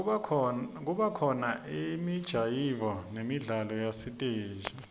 kubakhona imijayivo nemidlalo yasesitesi